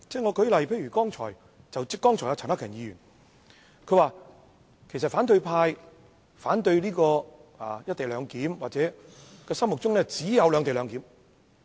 舉例而言，剛才陳克勤議員表示，反對派反對"一地兩檢"是因為他們心中只有"兩地兩檢"。